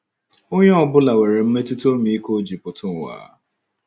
Onye ọ bụla nwere mmetụta ọmịiko o ji pụta ụwa.